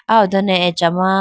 ah ho done acha ma.